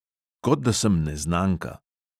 Kot da sem neznanka.